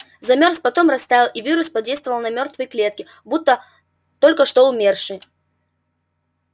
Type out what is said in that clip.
замёрз потом растаял и вирус подействовал на мёртвые клетки будто на только что умершие